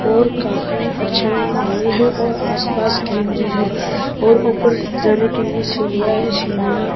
और काफी अच्‍छा हॉल है और आस-पास ग्रीनरी है और ऊपर जाने के लिए सीढि़यां है सीढि़यां --